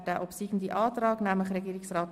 Wer den obsiegenden Antrag annimmt, stimmt Ja.